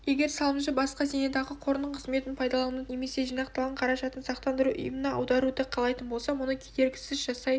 егер салымшы басқа зейнетақы қорының қызметін пайдалануды немесе жинақталған қаражатын сақтандыру ұйымына аударуды қалайтын болса мұны кедергісіз жасай